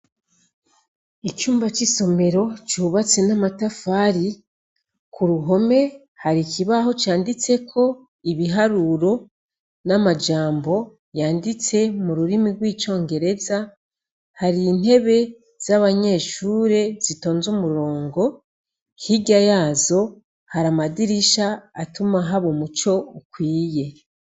Icumba c'isomero cubatse n'amatafari. K'uruhome har'ikibaho canditseko ibiharuro n'amajambo yanditse m'ururimi rw'icongereza. Har'iintebe z'abanyeshure zitonze umurongo. Hirya yazo, hari amadirisha atuma haba umuco ukwiye.